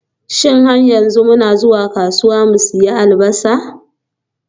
Shin har yanzu muna zuwa kasuwa mu sayi Albasa?